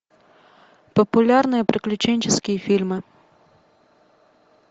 популярные приключенческие фильмы